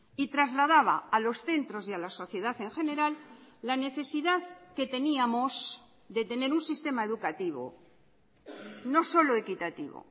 y trasladaba a los centros y a la sociedad en general la necesidad que teníamos de tener un sistema educativo no solo equitativo